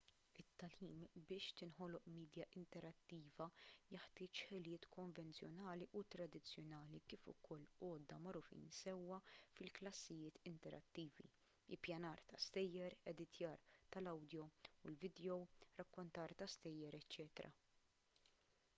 it-tagħlim biex tinħoloq midja interattiva jeħtieġ ħiliet konvenzjonali u tradizzjonali kif ukoll għodda magħrufin sewwa fi klassijiet interattivi ippjanar ta’ stejjer editjar tal-awdjo u l-vidjow rakkontar ta’ stejjer eċċ.